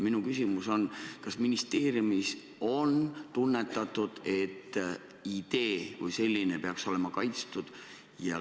Minu küsimus on, kas ministeeriumis on tunnetatud, et idee kui selline peaks olema kaitstud.